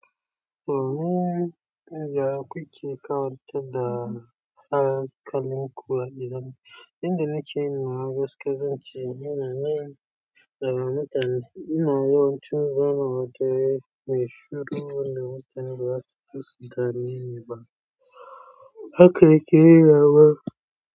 To, ni naga ku kike ka wata da hakalin kuwa idan inda nake ina gaskata zan ce ina nan da mutane. Ina yawancin zaman waje mai shuru wanda mutane baza su zo su dame ni ba. Haka nake rawa.